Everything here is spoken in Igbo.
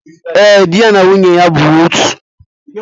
Ee, di na nwunye bụ otu